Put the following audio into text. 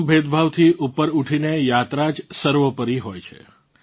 તમામ ભેદભાવથી ઉપર ઉઠીને યાત્રા જ સર્વોપરી હોય છે